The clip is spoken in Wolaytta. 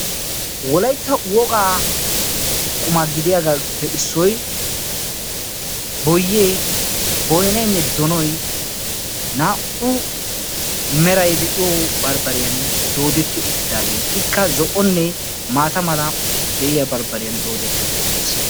Wolayitta wogaa quma gidiyagaappe issoy boyyee, boynaynne donoy naa"u meray de'iyo barbbariyan doodetti uttidaagee ikka zo"onne maata mala de"iyaa barbbariyan doodetti uttis.